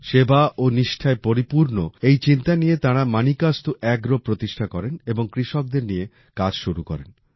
সেবা ও নিষ্ঠায় পরিপূর্ণ এই চিন্তা নিয়ে তাঁরা মানিকাস্তু এগ্রো প্রতিষ্ঠা করেন এবং কৃষকদের নিয়ে কাজ শুরু করেন